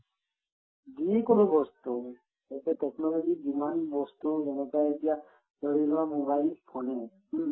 যিকোনো বস্তু এটা technology ত যিমান বস্তু যেনেকুৱা এতিয়া ধৰি লোৱা mobile phone য়ে হুম